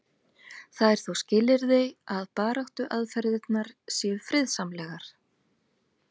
það er þó skilyrði að baráttuaðferðirnar séu friðsamlegar